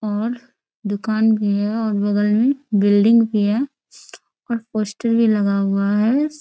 और दुकान भी है और बगल मे बिल्डिंग भी है और पोस्टर भी लगा हुआ है। श --